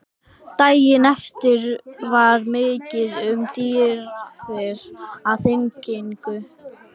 Daginn eftir var mikið um dýrðir á þinginu.